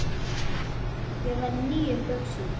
Ég var í nýjum buxum.